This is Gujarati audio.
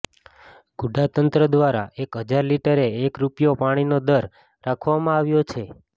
ગુડા તંત્ર દ્વારા એક હજાર લિટરે એક રૂપિયો પાણીનો દર રાખવામાં આવ્યો છે